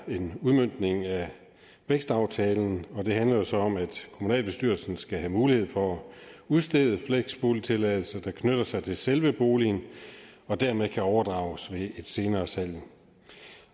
er en udmøntning af vækstaftalen og det handler jo så om at kommunalbestyrelsen skal have mulighed for at udstede fleksboligtilladelser der knytter sig til selve boligen og dermed kan overdrages ved et senere salg